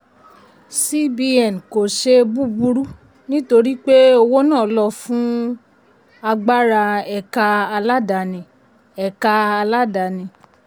cbn kò ṣe búburú nítorí pé owó náà lo fún agbára ẹ̀ka aládáàni. ẹ̀ka aládáàni.